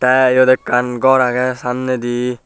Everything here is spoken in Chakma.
tey eyot ekkan gor agey samnedi.